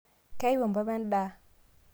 keyau mpapa endaa?